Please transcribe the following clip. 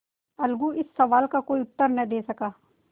अलगू इस सवाल का कोई उत्तर न दे सका